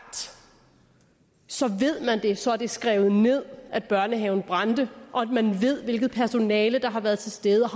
så ved man det så er det skrevet ned at børnehaven brændte og man ved hvilket personale der har været til stede